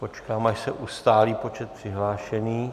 Počkám, až se ustálí počet přihlášených...